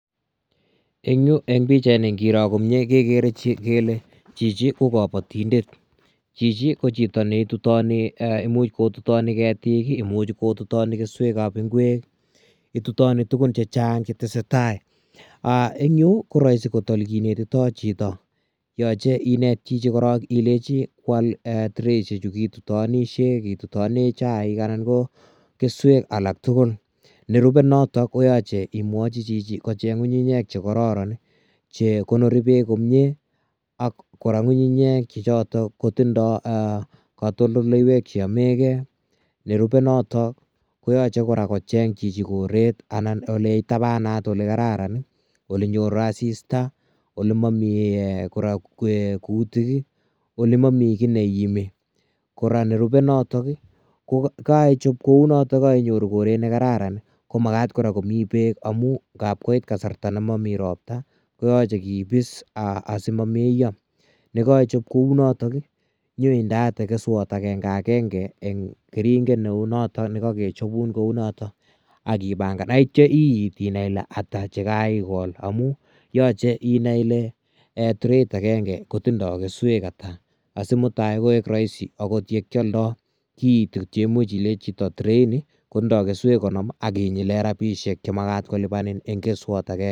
En Yuu en pichait nii ngiroo komyei kegere kele chichi ii ko kabatindet, chichi ko imuuch ko tutanii ketik ,imuuch kotutani kesuek ab ingweek itutani tuguun chechaang che tesetai aah en Yuu ko raisi kot ole kinetitoi chitoo, yachei ineet chitoo korong ilechi koyaal traishek chutoon chu kitutaneen kitutaneen chaik anan ko kesuek alaak tugul nerubee notoon koyachei imwachi chichitoon kocheeng ngungunyeek che kororon che konorii beek komyei ak kora ngungunyeek kora. che chotoon kotindai katoltoleiweek che yamei gei nerubee notoon koyachei kocheeng chichi koreet anan ole itabanaat ole kararan ii ole nyoruu assista ii ,ole mamii kora kutiik ii ole mamii kiiy neimee kora nerupee ii notoon ii kaichaap ko notoon kainyoruu koreet nekararaan ko magaat kora komii beek amuun naap koit kasarta ne mamii ropta ii koyachei koboos asimameyaa ye kaichaap kou notoon nyoon indeate kesweek agenge agenge en keringeet ne uu notoon nekakechapuun kou notoon agipangaan ak yeityaa iitt inai Ile ata che kaigol amuun yachei inai Ile trait ageinge kotindoi kesweek ata asi mutai koek raisi akoot ye kiyaldai kiit chemuchei Ile chito trait kotindoi kesweek cheitee bogol akinyiit inyileen rapisheek che magaat kolupaan eng keswaat agengee.